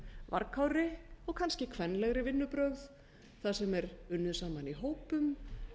upp eilítið varkárri og kannski kvenlegri vinnubrögð þar sem er unnið saman í hópum